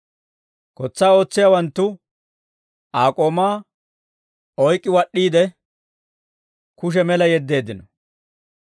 Kotsaa ootsiyaawanttu Aa k'oomaa oyk'k'i wad'd'iide, kushe mela yeddeeddino.